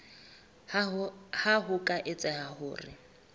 ha ho ka etseha hore